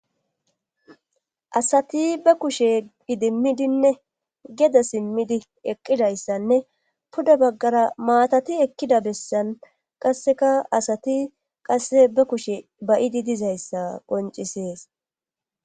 asati be kushe idimmidinne geda simmidi eqqidayssanne puda baggara maatati ekkida bessan qaseka asati qase be kushe bayidi dizayssa qoncisees